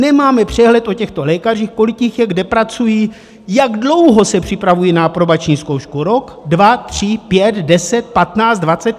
Nemáme přehled o těchto lékařích, kolik jich je, kde pracují, jak dlouho se připravují na aprobační zkoušku - rok, dva, tři, pět, deset, patnáct, dvacet?